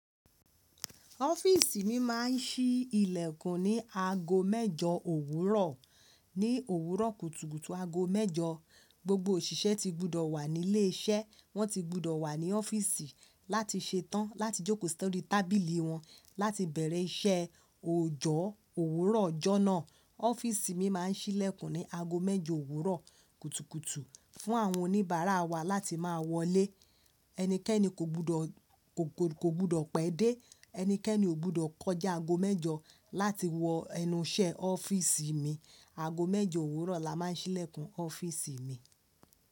Ọ́fíìsì mi máa ń sí ìlẹ̀kùn ní aago mẹ́jọ òwúrọ̀. Ní òwúrọ̀ kùtùkùtù aago mẹ́jọ, gbogbo òṣìṣẹ́ ti gbudọ̀ wà nílé iṣẹ́. Wọ́n ti gbudọ̀ wà ní ọ́fíìsì láti ṣetán láti jókòó sórí tábìlì wọn láti bẹ̀rẹ̀ iṣẹ́. Òòjọ́ òwúrọ̀ ọjọ́ náà, ọ́fíìsì mi máa ń sí ìlẹ̀kùn ní aago mẹ́jọ òwúrọ̀ kùtùkùtù fún àwọn oníbàárà wa láti máa wọlé. Ẹnikẹ́ni kò gbọ́dọ̀, kò, kò gbọ́dọ̀ pẹ́ dé. Ẹnikẹ́ni ò gbudọ̀ kọjá aago mẹ́jọ láti wọ ẹnu iṣẹ́ ọ́fíìsì mi. Aago mẹ́jọ òwúrọ̀ la máa ń sí ìlẹ̀kùn ọ́fíìsì mi.